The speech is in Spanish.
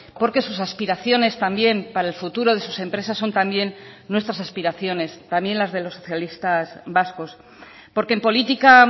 porque sus aspiraciones también para el futuro de sus empresas son también nuestras aspiraciones también las de los socialistas vascos porque en política